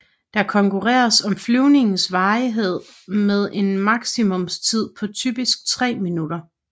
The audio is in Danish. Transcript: Der konkurreres på flyvningens varighed med en maksimumstid på typisk 3 minutter